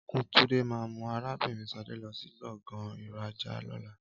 Ọnku Túndé ma mú arabinrin Sadé lọ sí gbọ̀ngàn ìrajà lóla